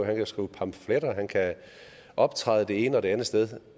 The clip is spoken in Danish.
han kan skrive pamfletter han kan optræde det ene eller det andet sted